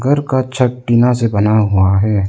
घर का छत टीना से बना हुआ है।